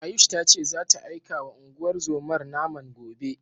Ayush ta ce zata aikawa unguwar zomar naman gobe.